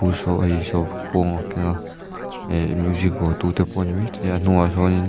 khuang a keng a eh music vuahtu te pawh a ni maithei a a hnungah sâwnin--